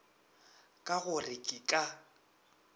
ka go re ke ka